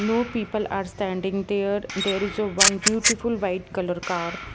No people are standing there there is a one beautiful white color car.